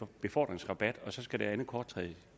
befordringsrabat og så skal det andet kort træde